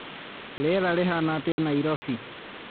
rĩera rĩhaana atĩa Nairobi